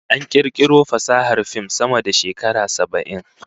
An kirkiro fasahar fim sama da shekara saba'in